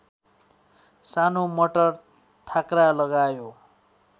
सानो मटर थाँक्रा लगायो